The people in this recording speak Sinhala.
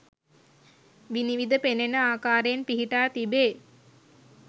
විනිවිද පෙනෙන ආකාරයෙන් පිහිටා තිබේ.